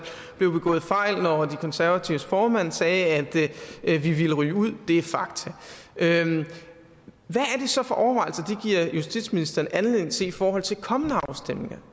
blev begået fejl når de konservatives formand sagde at vi ville ryge ud det er fakta hvad er det så for overvejelser det giver justitsministeren anledning til i forhold til kommende afstemninger